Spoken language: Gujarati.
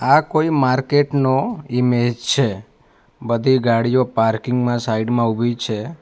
આ કોઈ માર્કેટ નો ઈમેજ છે બધી ગાડીઓ પાર્કિંગ માં સાઈડ માં ઉભી છે.